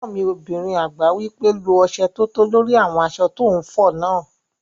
Ẹ̀gbọ́n mi obìnrin àgbà wí pé "lo ọsẹ tótó lórí àwọn aṣọ tó n fọ náà!"